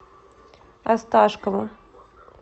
осташкову